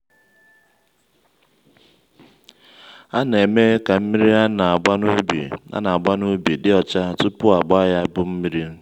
a na-eme ka mmiri ana-agba n'ubi ana-agba n'ubi dị ọcha tupu agba ya bu mmiri.